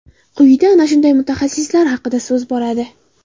Quyida ana shunday mutaxassislar haqida so‘z boradi .